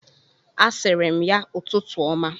A sịrị m ya ụtụtụ ọma.